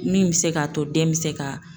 Min bi se k'a to den mi se ka